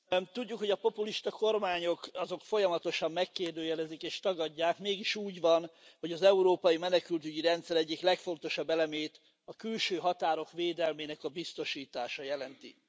Tisztelt Elnök Asszony! Tudjuk, hogy a populista kormányok folyamatosan megkérdőjelezik és tagadják, mégis úgy van, hogy az európai menekültügyi rendszer egyik legfontosabb elemét, a külső határok védelmének a biztosítása jelenti.